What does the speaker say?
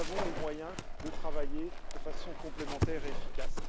Nous avons les moyens de travailler de façon complémentaire et efficace.